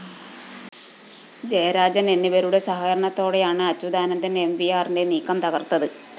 ജയരാജന്‍ എന്നിവരുടെ സഹകരണത്തോടെയാണ് അച്യുതാനന്ദന്‍ എംവിആറിന്റെ നീക്കം തകര്‍ത്തത്